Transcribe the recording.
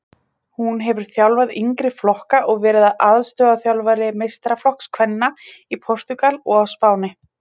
Hún hefur þjálfað yngri flokka og verið aðstoðarþjálfari meistaraflokks kvenna í Portúgal og á Spáni.